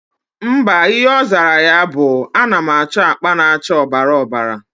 Mba, Ihe ozara ya bu:Anam acho akpa na acha obara obara